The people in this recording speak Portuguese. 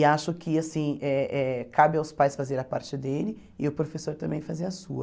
E acho que assim eh eh cabe aos pais fazer a parte dele e o professor também fazer a sua.